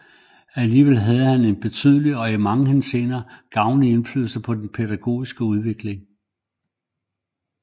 Alligevel havde han en betydelig og i mange henseender gavnlig indflydelse på den pædagogiske udvikling